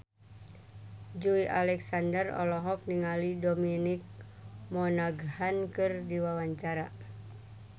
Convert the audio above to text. Joey Alexander olohok ningali Dominic Monaghan keur diwawancara